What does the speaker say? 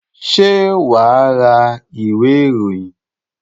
Ṣé wà á ra ìwé-ìròyìn?